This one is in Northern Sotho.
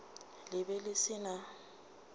le be le se na